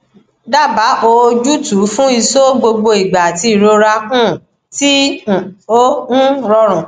daba oojutu fún iso gbogbo igba ati irora um ti um o um rorun